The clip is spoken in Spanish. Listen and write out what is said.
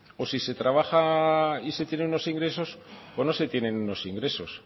o si se trabaja y se tiene unos ingresos o no se tienen unos ingresos